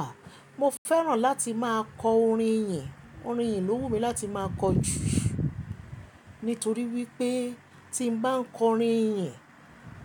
Ah, mo fẹ́ràn láti máa kọ orin ìyìn. Orin ìyìn lò wù mí láti máa kọ jù, nítorí wípé tí n bá ń kọ orin ìyìn,